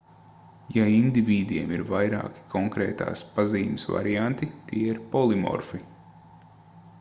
ja indivīdiem ir vairāki konkrētās pazīmes varianti tie ir polimorfi